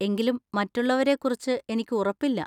എങ്കിലും മറ്റുള്ളവരെക്കുറിച്ച് എനിക്ക് ഉറപ്പില്ല.